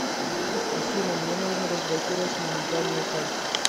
афина мне нужно разблокировать моментальную карту